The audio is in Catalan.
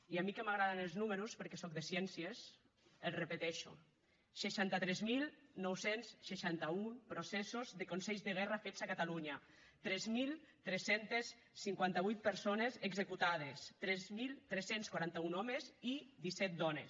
i a mi que m’agraden els números perquè soc de ciències els repeteixo seixanta tres mil nou cents i seixanta un processos de consells de guerra fets a catalunya tres mil tres cents i cinquanta vuit persones executades tres mil tres cents i quaranta un homes i disset dones